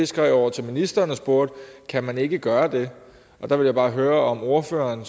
skrev til ministeren og spurgte kan man ikke gøre det der vil jeg bare høre om ordføreren